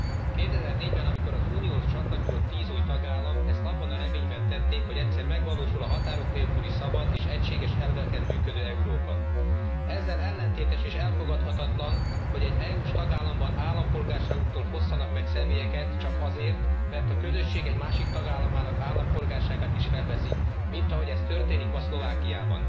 2004 ben, amikor az Unióhoz csatlakozott 10 új tagállam, ezt abban a reményben tették, hogy egyszer megvalósul a határok nélküli szabad, és egységes elveken működő Európa. Ezzel ellentétes és elfogadhatatlan, hogy egy EU s tagállamban állampolgárságuktól fosszanak meg személyeket csak azért, mert a közösség egy másik tagállamának állampolgárságát is felveszik, mint ahogy ez történik most Szlovákiában.